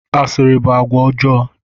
Asịrị bụ àgwà ọjọọ.